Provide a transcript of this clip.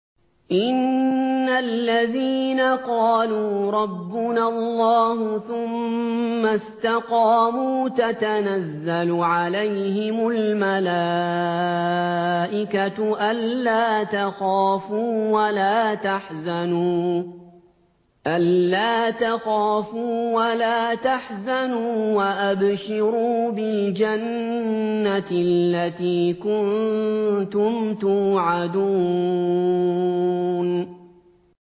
إِنَّ الَّذِينَ قَالُوا رَبُّنَا اللَّهُ ثُمَّ اسْتَقَامُوا تَتَنَزَّلُ عَلَيْهِمُ الْمَلَائِكَةُ أَلَّا تَخَافُوا وَلَا تَحْزَنُوا وَأَبْشِرُوا بِالْجَنَّةِ الَّتِي كُنتُمْ تُوعَدُونَ